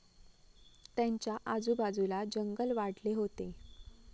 त्यांच्या आजूबाजूला जंगल वाढले होते.